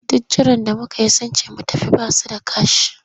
Duk jiran da muka yi sun ce mu tafi ba su da kash.